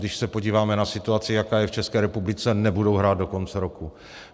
Když se podíváme na situaci, jaká je v České republice, nebudou hrát do konce roku.